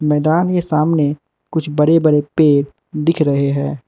मैदान के सामने कुछ बड़े बड़े पेड़ दिख रहे हैं।